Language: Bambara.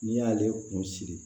N'i y'ale kun siri